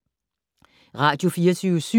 Radio24syv